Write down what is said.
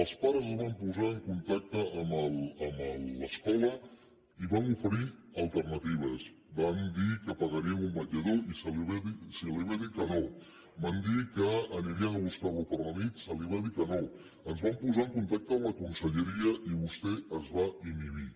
els pares es van posar en contacte amb l’escola i van oferir alternatives van dir que pagarien un vetllador i se’ls va dir que no van dir que anirien a buscar lo a la nit se’ls va dir que no es van posar en contacte amb la conselleria i vostè es va inhibir